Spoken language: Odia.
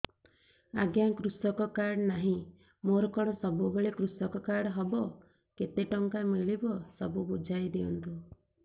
ଆଜ୍ଞା କୃଷକ କାର୍ଡ ନାହିଁ ମୋର କଣ ସବୁ କଲେ କୃଷକ କାର୍ଡ ହବ କେତେ ଟଙ୍କା ମିଳିବ ସବୁ ବୁଝାଇଦିଅନ୍ତୁ